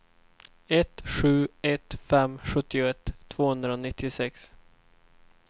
ett sju ett fem sjuttioett tvåhundranittiosex